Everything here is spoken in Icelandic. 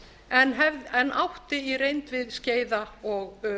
flóamenn en átti í reynd við skeiða og